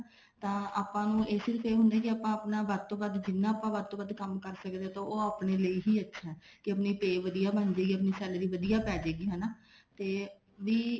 ਤਾਂ ਆਪਾਂ ਨੂ ਸਿਰਫ ਇਹ ਹੁੰਦਾ ਕੇ ਆਪਾਂ ਆਪਣਾ ਵੱਧ ਤੋਂ ਵੱਧ ਜਿੰਨਾ ਆਪਾਂ ਵੱਧ ਤੋਂ ਵੱਧ ਕੰਮ ਕਰ ਸਕੀਏ ਉਹ ਆਪਣੇ ਲਈ ਹੀ ਅੱਛਾ ਕੇ ਆਪਣੀ pay ਵਧੀਆ ਬਣ ਜੇਗੀ ਆਪਣੀ salary ਵਧੀਆ ਪੇਜੁਗੀ ਹਨਾ ਤੇ ਵੀ